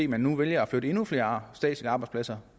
man nu vælger at flytte endnu flere statslige arbejdspladser